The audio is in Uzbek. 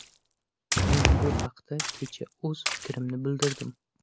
Men bu haqda kecha o‘z fikrimni bildirdim.